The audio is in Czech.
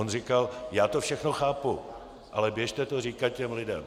On říkal: Já to všechno chápu, ale běžte to říkat těm lidem!